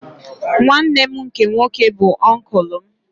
Nwanne m nke nwoke bụ oncul m